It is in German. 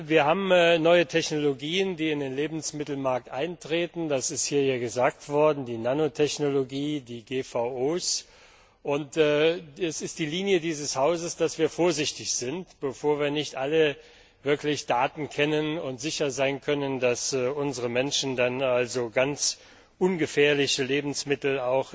Wir haben neue Technologien, die in den Lebensmittelmarkt eintreten das ist hier ja gesagt worden die Nanotechnologie, die GVO, und es ist die Linie dieses Hauses, dass wir vorsichtig sind, bevor wir nicht alle Daten kennen und sicher sein können, dass unsere Menschen in den Supermärkten auch ganz ungefährliche Lebensmittel